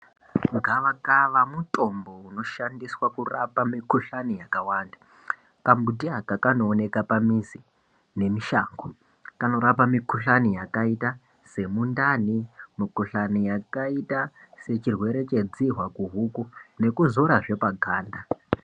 Gavakava mutombo unoshandiswa kurapa mikuhlani yakawanda, ambuti aka kanooneka pamizi nemushango. Kanorapa mikuhlani yakaita semundani mikuhklani yakaita sechirwere chedzihwa kuhuku nekuzorazve paganda.